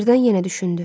Birdən yenə düşündü.